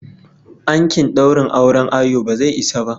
Ankin daurin auren ayo bazai isa ba.